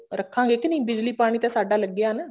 ਰੱਖਾਂਗੇ ਕੇ ਨਹੀਂ ਬਿਜਲੀ ਪਾਣੀ ਤਾਂ ਸਾਡਾ ਲੱਗਿਆ ਨਾ